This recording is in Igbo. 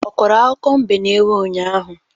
Ọ kọrọ akụkọ mbe na ewu ụnyaahụ?